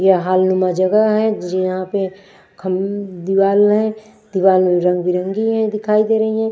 यह हॉलनुमा जगह है यहाँ पे खम्भ दीवाल है दीवाल में रंग-बिरंगी है दिखाई दे रही है।